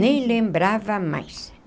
Nem lembrava mais.